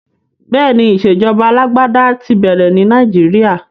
Bẹ́ẹ̀ni, ìṣèjọba alágbádá ti bẹ̀rẹ̀ ní Nàìjíríà.